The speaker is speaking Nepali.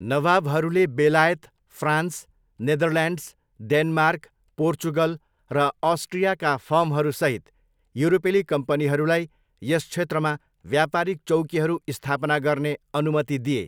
नवाबहरूले बेलायत, फ्रान्स, नेदरल्यान्ड्स, डेनमार्क, पोर्चुगल र अस्ट्रियाका फर्महरूसहित युरोपेली कम्पनीहरूलाई यस क्षेत्रमा व्यापारिक चौकीहरू स्थापना गर्ने अनुमति दिए।